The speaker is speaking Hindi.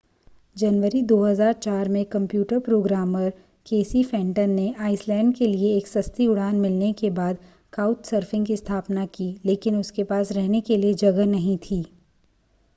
जनवरी 2004 में कंप्यूटर प्रोग्रामर केसी फेन्टन ने आइसलैंड के लिए एक सस्ती उड़ान मिलने के बाद काउचसर्फिंग की स्थापना की लेकिन उसके पास रहने के लिए जगह नहीं थी